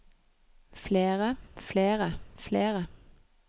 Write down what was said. flere flere flere